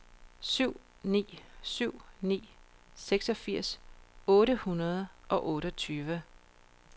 syv ni syv ni seksogfirs otte hundrede og otteogtyve